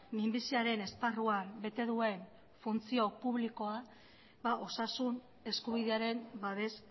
minbiziaren esparruan bete duen funtzio publikoa osasun eskubidearen babes